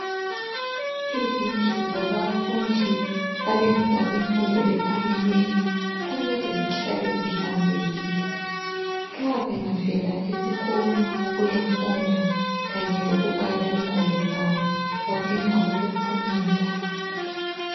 Izindlu zabafundi abenza imfundo ephakemeyo kumele zihlale zihlanzekile. Nxa bengavela esikolo ukuyafunda kanye lokubala ingwalo zabo badinga ukuphumula.